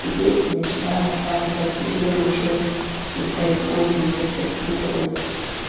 дети начинают сами по себе уже непроизвольно это всё впитывать